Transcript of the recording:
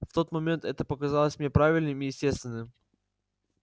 в тот момент это показалось мне правильным и естественным